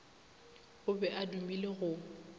o be a dumile go